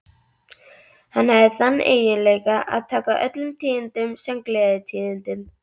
Hann hafði þann eiginleika að taka öllum tíðindum sem gleðitíðindum.